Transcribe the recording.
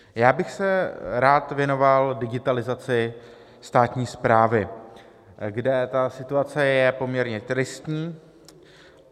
Já bych se rád věnoval digitalizaci státní správy, kde ta situace je poměrně tristní.